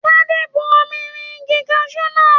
Tade bú omi rìn igi kasu náà.